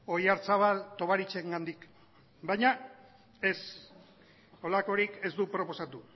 oyarzabal tovarichengandik baina ez horrelakorik ez du proposatu